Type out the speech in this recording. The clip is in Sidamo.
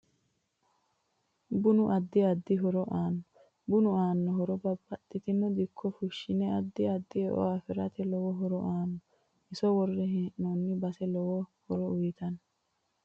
Bunu addi addi horo aanno bunu aanno hooro babbaxitino dikko fushshinne addi addi e'o afirate lowo horo aanno iso worre heenoni base lowo horo uyiitanno